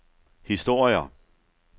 historier